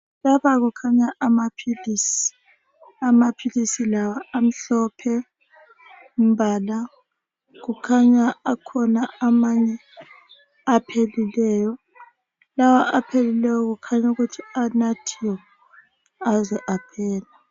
Lapha kukhanya amaphilisi. Amaphilisi lawa amhlophe umbala, kukhanya akhona amanye aphelileyo. Lawa aphelileyo kukhanya ukuthi anathiwe aze aphela.